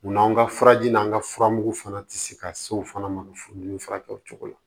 U n'anw ka furaji n'an ka furamugu fana tɛ se ka se o fana ma furudimi furakɛ o cogo la